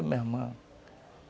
meu irmão.